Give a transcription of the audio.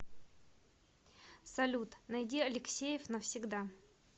салют найди алексеев навсегда